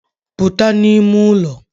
Puta n'ime ụlọ